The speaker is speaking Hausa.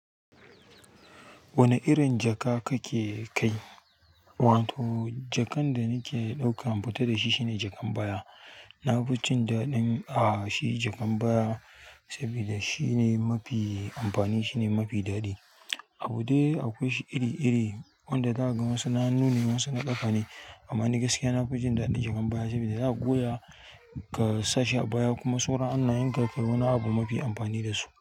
Wane irin jaka kake kai. Wato jakan da nake ɗauka, in fita da shi shine jakan baya. Nafi jin daɗin a shi jakan baya sabida shine mafi amfani shine mafi daɗi. Abu de akwai shi iri-iri, wanda zaka ga wasu na hannune wasu na ƙafa ne amma gaskiya ni nafi jin daɗin jakar baya sabida zaka goya. Ka sa shi a baya kuma sauran hannayenka kai wani abu mafi amfani dasu.